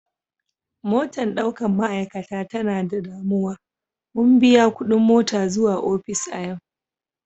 Motan daukan ma'aikata ta na da danuwa, mun biya kudin mota zuwa ofis a yau.